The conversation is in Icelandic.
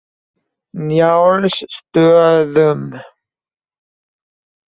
Njálsstöðum